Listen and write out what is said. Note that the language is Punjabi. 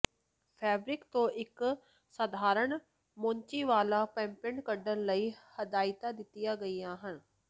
ਫੈਬਰਿਕ ਤੋਂ ਇੱਕ ਸਧਾਰਨ ਮੋਚੀ ਵਾਲਾ ਪੋਪਪੇਟ ਕੱਢਣ ਲਈ ਹਦਾਇਤਾਂ ਦਿੱਤੀਆਂ ਗਈਆਂ ਹਨ